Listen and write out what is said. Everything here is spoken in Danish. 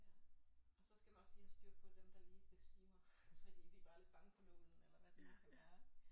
Ja og så skal man også lige have styr på dem der lige besvimer fordi de var lidt bange for nålen eller hvad det nu kan være